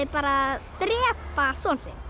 bara að drepa son sinn